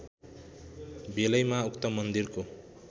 बेलैमा उक्त मन्दिरको